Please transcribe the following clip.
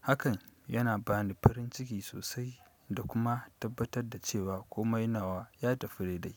Hakan yana ba ni farin ciki sosai, da kuma tabbatar da cewa komai nawa, ya tafi dai dai.